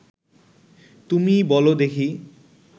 তুমি বল দেখি